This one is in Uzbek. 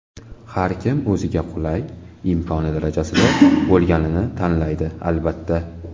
Har kim o‘ziga qulay, imkoni darajasida bo‘lganini tanlaydi, albatta.